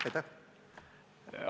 Aitäh!